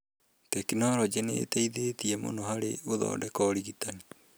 Tekinoronjĩ nĩ ĩteithĩtie mũno harĩ gũthondeka ũrigitani.